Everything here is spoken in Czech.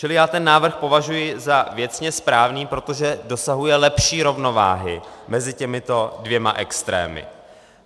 Čili já ten návrh považuji za věcně správný, protože dosahuje lepší rovnováhy mezi těmito dvěma extrémy.